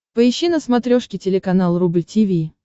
поищи на смотрешке телеканал рубль ти ви